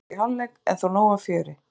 Markalaust í hálfleik en þó nóg af fjöri.